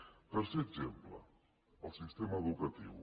tercer exemple el sistema educatiu